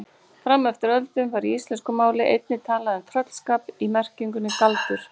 Fram eftir öldum var í íslensku máli einnig talað um tröllskap í merkingunni galdur.